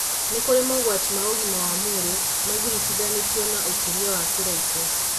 Nĩ kũrĩ mogwati ma ũgima wa mwĩrĩ magiritithanĩtio na ũkũria wa kĩraikũ